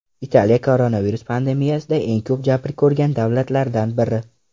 Italiya koronavirus pandemiyasida eng ko‘p jabr ko‘rgan davlatlardan biri.